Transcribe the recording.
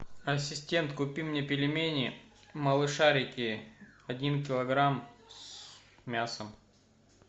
ассистент купи мне пельмени малышарики один килограмм с мясом